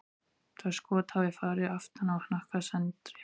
Það skot hafi farið aftan á hnakka Sandri.